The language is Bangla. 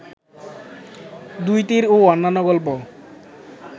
দুই তীর ও অন্যান্য গল্প